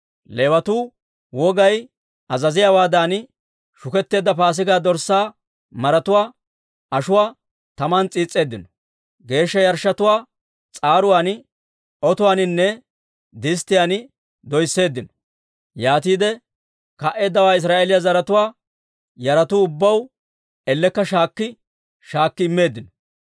Leewatuu wogay azaziyaawaadan shuketteedda Paasigaa dorssaa maratuwaa ashuwaa taman s'iis's'eeddino; geeshsha yarshshotuwaa s'aaruwaan, otuwaaninne disttiyaan doysseeddino. Yaatiide ka"eeddawaa Israa'eeliyaa zaratuwaa yaratuu ubbaw ellekka shaakki shaakki immeeddino.